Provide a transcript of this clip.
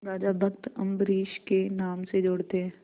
राजा भक्त अम्बरीश के नाम से जोड़ते हैं